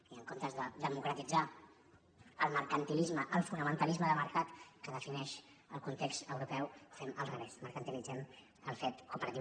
i en comptes de democratitzar el mercantilisme el fonamentalisme de mercat que defineix el context europeu fem al revés mercantilitzem el fet cooperatiu